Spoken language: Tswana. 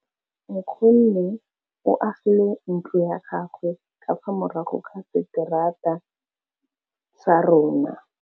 Nkgonne o agile ntlo ya gagwe ka fa morago ga seterata sa rona.